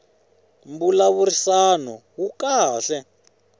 mbulavurisano wu kahle